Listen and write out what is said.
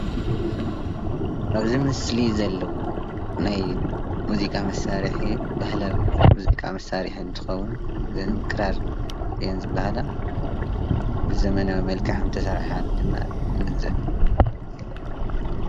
ኣብዚ ምስሊ ዘሎ ናይ ሙዚቃ መሳርሒ ባህላዊ ሙዚቃ መሳርሒ እንትኸዉን ክራር እየን ዝብሃላ ብዘመናዊ መልክዕ ከም እተሰርሓ ድማ ንግንዘብ።